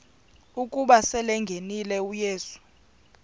ukuba selengenile uyesu